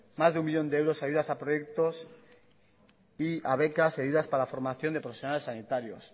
más de uno millón de euros a ayudas a proyectos y a becas y a ayudas para la formación de profesionales sanitarios